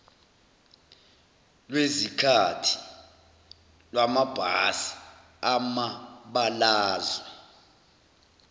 lwezikhathi lwamabhasi amabalazwe